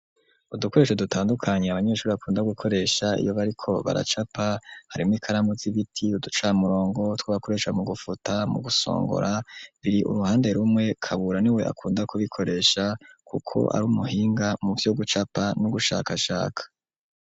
Udukoresho dutandukanye abanyeshuri bakunda gukoresha iyo bariko baracapa harimo ikaramu y'ibiti, uducamurongo, utwo bakoresha mu gufuta, mu gusongora, biri uruhande rumwe, Kabura ni we akunda kubikoresha kuko ari umuhinga muvyo gucapa no gushakashaka.